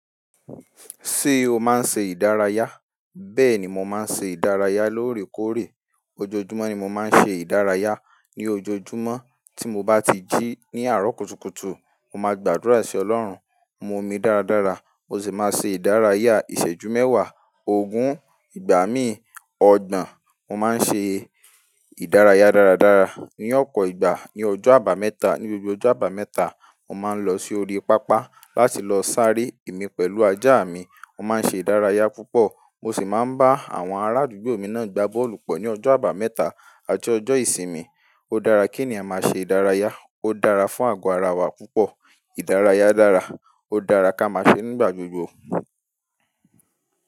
Ṣé o máa ń ṣe ìdárayá? Bẹ́ẹ̀ ni mo máa ń ṣe ìdárayá lóòrèkóòrè. Ojoojúmọ́ ni mo máa ń ṣe ìdárayá. Ni ojoojúmọ́ tí mo bá ti jí ní àárọ̀ kùtùkùtù, mo máa gbàdúrà sí ọlọ́run, mu omi dáradára, mo sì máa ṣe ìdárayá. Ìṣẹ́jú mẹ́wàá, ogún, ìgbà mí ọgbọ̀n, mo máa ń ṣe ìdárayá dáradára. Ní ọ̀pọ̀ ìgbà, ní ọjọ́ àbámẹ́ta, ní gbogbo ọjọ́ àbámẹ́ta, mo máa ń lọ sí orí pápá láti lọ sáré mi pẹ̀lú ajá mi. Mo máa ń ṣe ìdárayá púpọ̀ mo sì máa ń bá àwọn arádùgbò mi náà gbá bọ́ọ̀lù pọ ní ọjọ́ àbámẹ́ta àti ọjọ́ ìsinmi. Ó dára kí ènìyàn máa ṣe ìdárayá. Ó dára fún àgọ́ ara wa púpọ̀. Ìdárayá dára, ó dára kí a máa ṣe nígbà gbogbo.